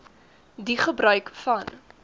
die gebruik van